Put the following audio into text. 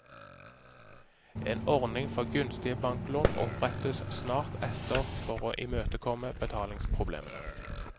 En ordning for gunstige banklån opprettes snart etter for å imøtekomme betalingsproblemene.